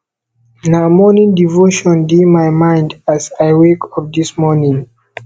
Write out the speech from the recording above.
na morning devotion dey my mind as i wake up dis morning